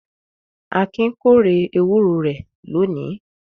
Akin kórè ewúro rẹ̀ lónìí.